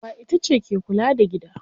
Uwa itace ke kula da gida.